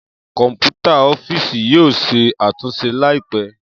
Kọnputa ọfiisi yoo ṣe atunṣe laipẹ.